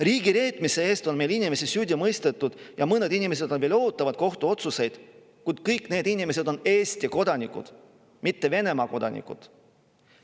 Riigireetmise eest on meil inimesi süüdi mõistetud ja mõned inimesed veel ootavad kohtuotsust, kuid kõik need inimesed on Eesti kodanikud, mitte Venemaa kodanikud.